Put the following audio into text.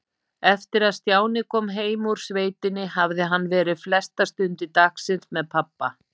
Eftir að Stjáni kom heim úr sveitinni hafði hann verið flestar stundir dagsins með pabba.